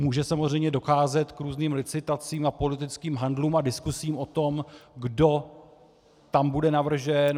Může samozřejmě docházet k různým licitacím a politickým handlům a diskusím o tom, kdo tam bude navržen.